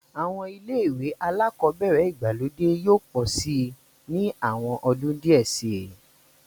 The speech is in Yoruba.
Àwọn ilé-ìwé alákọ̀ọ́bẹ̀ẹ̀rẹ̀ ìgbàlódé yóò pọ̀ síi ní àwọn ọdún díẹ̀ síi.